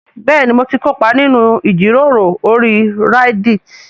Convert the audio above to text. Bẹ́ẹ̀ni mo ti kópa nínú ìjíròrò orí Reddit